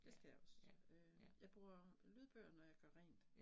Det skal jeg også øh jeg bruger lydbøger, når jeg gør rent